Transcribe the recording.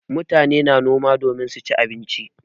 Mutane na noma domin su ci abinci.